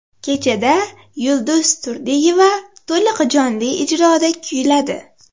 Kechada Yulduz Turdiyeva to‘liq jonli ijroda kuyladi.